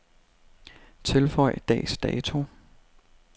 Tilføj dags dato.